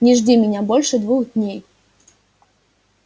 не жди меня больше двух дней